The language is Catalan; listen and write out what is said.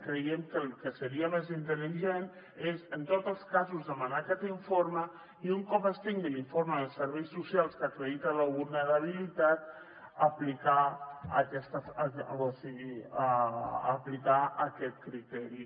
creiem que el que seria més intel·ligent és en tots els casos demanar aquest informe i un cop es tingui l’informe de serveis socials que acredita la vulnerabilitat aplicar aquest criteri